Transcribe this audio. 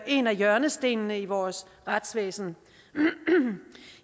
en hjørnesten i vores retsvæsen